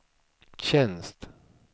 tjänst